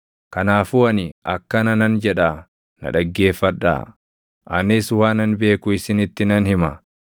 “Kanaafuu ani akkana nan jedhaa na dhaggeeffadhaa; anis waanan beeku isinitti nan hima.